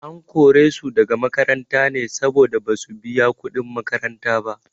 An kore su daga makaranta ne saboda basu biya kuɗin makaranta ba.